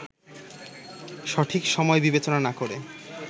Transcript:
সঠিক সময় বিবেচনা না করে